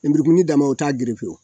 lenburukumuni dama o t'a gerefe o